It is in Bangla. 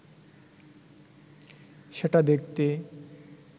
সেটা দেখতে